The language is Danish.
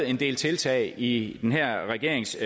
en del tiltag i den her regerings